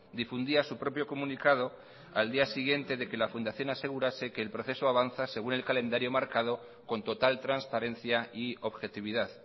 difundía su propio comunicado al día siguiente de que la fundación asegurase que el proceso avanza según el calendario marcado con total transparencia y objetividad